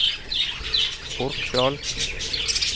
Orkdal